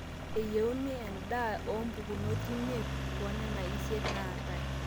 eyieuni endaa oompukunot imiet toonena isiet naatae